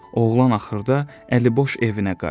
Oğlan axırda əliboş evinə qayıdır.